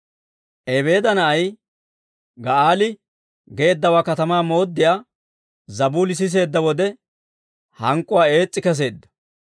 Ebeeda na'ay Ga'aali geeddawaa katamaa mooddiyaa Zabuuli siseedda wode, hank'k'uwaa ees's'i kesseedda;